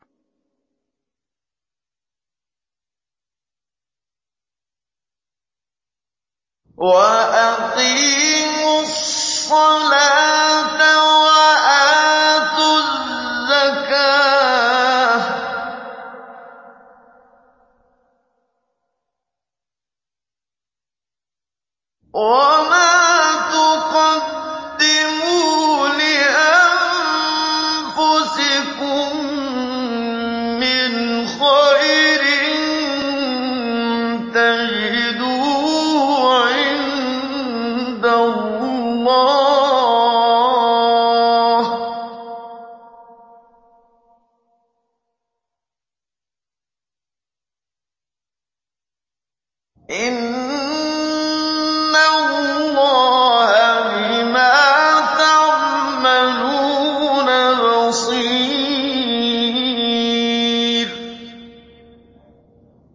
وَأَقِيمُوا الصَّلَاةَ وَآتُوا الزَّكَاةَ ۚ وَمَا تُقَدِّمُوا لِأَنفُسِكُم مِّنْ خَيْرٍ تَجِدُوهُ عِندَ اللَّهِ ۗ إِنَّ اللَّهَ بِمَا تَعْمَلُونَ بَصِيرٌ